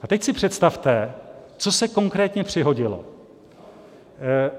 A teď si představte, co se konkrétně přihodilo.